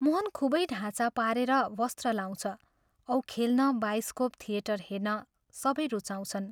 मोहन खूबै ढाँचा पारेर वस्त्र लाउँछ औ खेल्न, बाइस्कोप थिएटर हेर्न सबै रुचाउँछन्।